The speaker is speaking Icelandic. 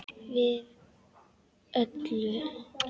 Við öllu.